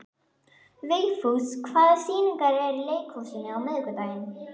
Vigfús, hvaða sýningar eru í leikhúsinu á miðvikudaginn?